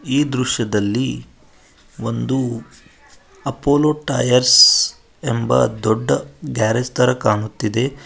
ಈ ದೃಶ್ಯದಲ್ಲಿ ಒಂದು ಅಪೋಲೋ ಟೈರ್ಸ್ ಎಂಬ ದೊಡ್ಡ ಗ್ಯಾರೆಜ್ ಥರ ಕಾಣುತ್ತಿದೆ.